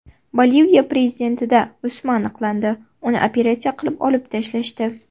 Boliviya prezidentida o‘sma aniqlandi, uni operatsiya qilib olib tashlashdi.